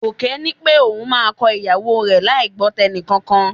Gòkè ní pé òun máa kọ ìyàwó rẹ láì gbọ́ tẹnìkankan